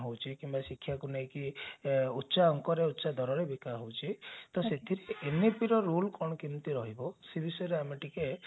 ହଉଛି କିମ୍ବା ଶିକ୍ଷାକୁ ନେଇକି ଉଚ୍ଚା ଅଙ୍କରେ ଉଚ୍ଚା ଦରରେ ବିକା ହଉଛି ତ ସେଥିରେ ଏମିତିର role କଣ କେମିତି ରହିବ ସେ ବିଷୟରେ ଆମେ ଟିକେ